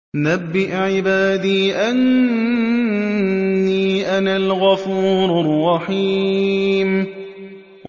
۞ نَبِّئْ عِبَادِي أَنِّي أَنَا الْغَفُورُ الرَّحِيمُ